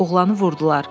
Oğlanı vurdular.